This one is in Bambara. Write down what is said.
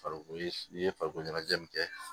Farikolo i ye farikolo ɲɛnajɛ min kɛ